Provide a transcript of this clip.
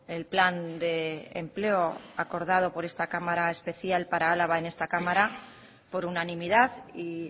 el plan de empleo acordado por esta cámara especial para álava en esta cámara por unanimidad y